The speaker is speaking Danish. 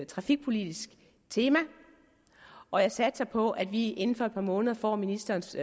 trafikpolitisk tema og jeg satser på at vi inden for et par måneder får ministerens